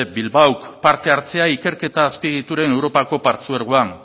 bilbaok parte hartzea ikerketa azpiegituren europako partzuergoan